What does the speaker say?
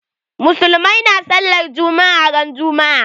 Musulmai na sallar juma'a ran juma'a